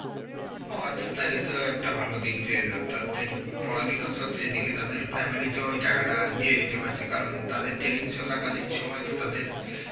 ও আচ্ছা, তাইলে তো একটা ভালো দিক দিয়ে যে অ্যাঁ তাদের পড়ালেখাও চলছে এদিকে তাদের family তেও ওই টাকাটা দিয়ে দিতে পারছে কারণ তাদের training চলা কালীন সময় তো তাদের